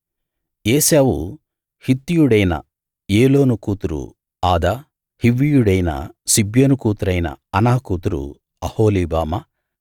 ఏశావు హిత్తీయుడైన ఏలోను కూతురు ఆదా హివ్వీయుడైన సిబ్యోను కూతురైన అనా కూతురు అహోలీబామా